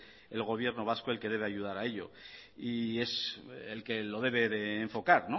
el gobierno vasco el que debe ayudar a ello y es el que lo debe de enfocar